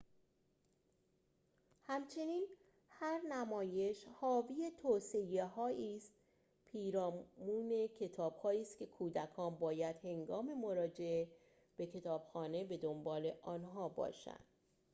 همچنین هر نمایش حاوی توصیه‌هایی پیرامون کتابهایی است که کودکان باید هنگام مراجعه به کتابخانه به دنبال آنها باشند